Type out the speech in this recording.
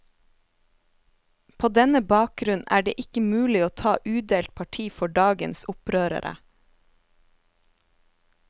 På denne bakgrunn er det ikke mulig å ta udelt parti for dagens opprørere.